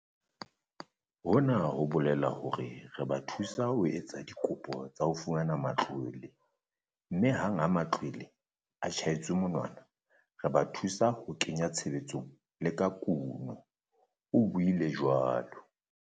"Hona ho bolela hore re ba thusa ho etsa dikopo tsa ho fumana matlwele, mme hang ha matlwele a tjhaetswe monwana, re ba thusa ka ho ke nya tshebetsong le ka kuno," o buile jwalo.